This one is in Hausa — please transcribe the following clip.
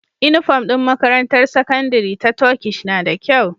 Inufom din makarantar sakandari ta Turkish nada kyau